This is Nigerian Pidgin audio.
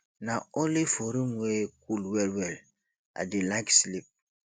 na only for room wey cool wellwell i dey like sleep